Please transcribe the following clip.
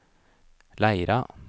Leira